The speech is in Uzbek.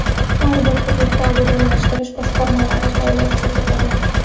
Har bir hududda obodonlashtirish boshqarmalari faoliyat ko‘rsatadi.